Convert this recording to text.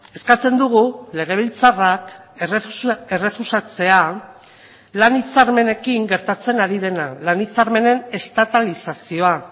eskatzen dugu legebiltzarrak errefusatzea lan hitzarmenekin gertatzen ari dena lan hitzarmenen estatalizazioa